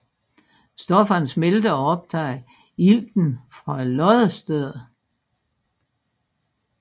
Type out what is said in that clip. Stofferne smelter og optager ilten fra loddestedet